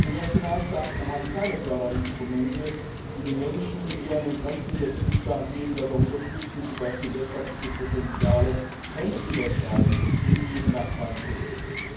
Denn die Nationalstaaten haben keine Förderinstrumente, die die Menschen, die an den Grenzen der Mitgliedstaaten leben, dabei unterstützen, zum Beispiel wirtschaftliche Potenziale grenzüberschreitend mit ihren Nachbarn zu heben.